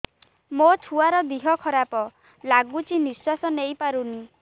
ମୋ ଛୁଆର ଦିହ ଖରାପ ଲାଗୁଚି ନିଃଶ୍ବାସ ନେଇ ପାରୁନି